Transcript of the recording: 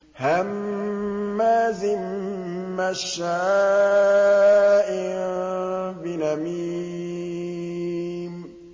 هَمَّازٍ مَّشَّاءٍ بِنَمِيمٍ